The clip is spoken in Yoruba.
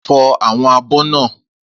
Fọ àwọn abọ́ náà!